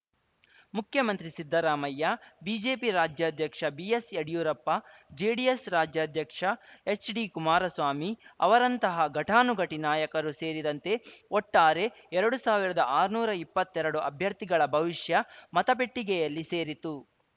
ಮುಖ್ಯಮಂತ್ರಿ ಸಿದ್ದರಾಮಯ್ಯ ಬಿಜೆಪಿ ರಾಜ್ಯಾಧ್ಯಕ್ಷ ಬಿಎಸ್‌ಯಡಿಯೂರಪ್ಪ ಜೆಡಿಎಸ್‌ ರಾಜ್ಯಾಧ್ಯಕ್ಷ ಹೆಚ್‌ಡಿಕುಮಾರಸ್ವಾಮಿ ಅವರಂತಹ ಘಟಾನುಘಟಿ ನಾಯಕರು ಸೇರಿದಂತೆ ಒಟ್ಟಾರೆ ಎರಡು ಸಾವಿರದ ಆರ್ನೂರು ಇಪ್ಪತ್ತೆರಡು ಅಭ್ಯರ್ಥಿಗಳ ಭವಿಷ್ಯ ಮತಪೆಟ್ಟಿಗೆಯಲ್ಲಿ ಸೇರಿತು